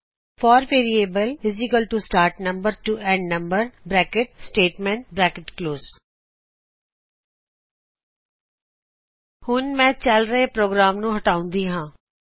four variable start number to end number Statement ਹੁਣ ਮੈ ਚਲ ਰਹੇ ਪ੍ਰੋਗਰਾਮ ਨੂੰ ਹਟਾਉਂਦੀ ਹਾਂ